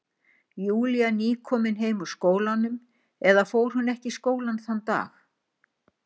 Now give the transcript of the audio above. Júlía nýkomin heim úr skólanum, eða fór hún ekki í skólann þann dag?